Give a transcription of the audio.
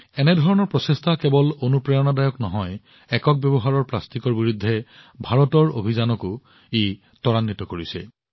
এনে ধৰণৰ প্ৰচেষ্টা কেৱল অনুপ্ৰেৰণাদায়কেই নহয় এবাৰ ব্যৱহৃত প্লাষ্টিকৰ বিৰুদ্ধে ভাৰতৰ অভিযানক গতিও প্ৰদান কৰে